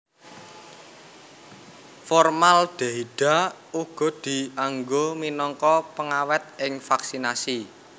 Formaldehida uga dianggo minangka pengawèt ing vaksinasi